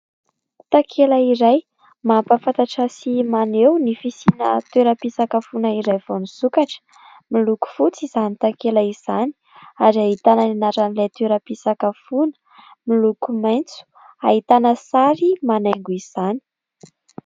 Takela iray mampahafantatra sy maneho ny fisiana toeram-pisakafoana iray vao nisokatra. Miloko fotsy izany takela izany ary ahitana ny anaran'ilay toeram-pisakafoana, miloko maitso ahitana sary manaingo izany.